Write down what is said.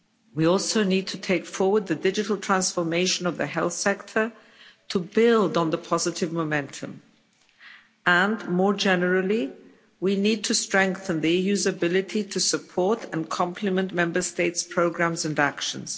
We also need to take forward the digital transformation of the health sector to build on the positive momentum and more generally, we need to strengthen the EU's ability to support and complement Member States' programmes and actions.